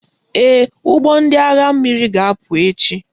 Ee, ụgbọ ndị agha mmiri ga-apụ echi